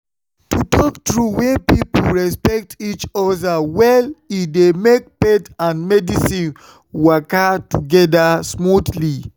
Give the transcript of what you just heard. to talk true when people respect each other well e dey make faith and medicine waka together smoothly.